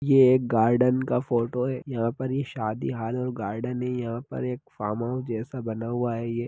ये एक गार्डन का फोटो है यहां पर ये शादी हॉल और गार्डन है यहां पर एक फॉर्महाउस जैसा बना हुआ है ये।